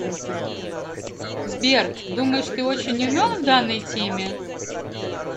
сбер думаешь ты очень умен в данной теме